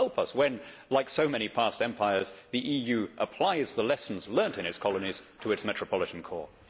God help us when, like so many past empires, the EU applies the lessons learnt in its colonies to its metropolitan core.